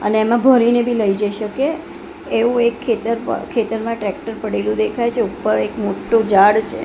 અને એમાં ભરીને બી લઇ જઇ શકે એવું એક ખેતર પ ખેતર માં ટ્રેકટર પડેલું દેખાય છે ઉપર એક મોટ્ટુ ઝાડ છે.